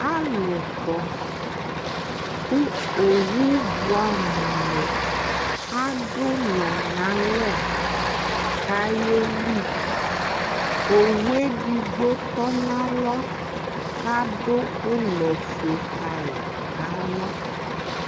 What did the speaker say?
Alu kɔ ku owu buɛ amu adu ulɔ nalɛ ku ayeli owu edigbo tɔnalɔ kadu ulɔ ofue kayi na lɔ